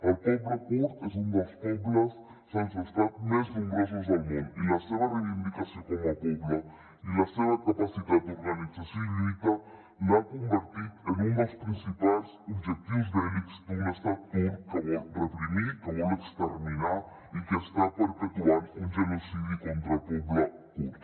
el poble kurd és un dels pobles sense estat més nombrosos del món i la seva reivindicació com a poble i la seva capacitat d’organització i lluita l’ha convertit en un dels principals objectius bèl·lics d’un estat turc que vol reprimir que vol exterminar i que està perpetuant un genocidi contra el poble kurd